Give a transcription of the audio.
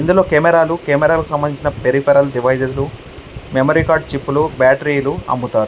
ఇందులో కెమెరాలు కెమెరాలకి సంబంధించిన పెరిపెరల్ డెవిస్స్ మెమరీ చిప్స్ బ్యాటరీలు అమ్ముతారు.